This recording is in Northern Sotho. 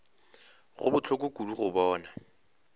go bohloko kudu go bona